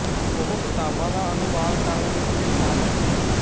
ਉਹ ਕਿਤਾਬਾਂ ਦਾ ਅਨੁਵਾਦ ਕਰਨ ਵਿਚ ਵੀ ਸ਼ਾਮਿਲ ਸੀ